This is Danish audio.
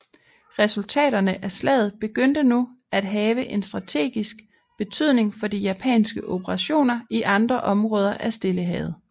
Resultaterne af slaget begyndte nu at have en strategisk betydning for de japanske operationer i andre områder af Stillehavet